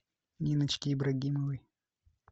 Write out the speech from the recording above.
ниночки ибрагимовой